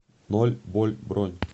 ноль боль бронь